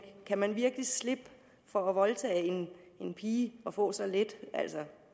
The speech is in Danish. kan man virkelig slippe for at voldtage en pige og få så lidt